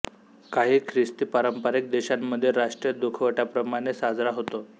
काही ख्रिस्ती पारंपारिक देशांमध्ये राष्ट्रीय दुखवट्याप्रमाणे साजरा होतो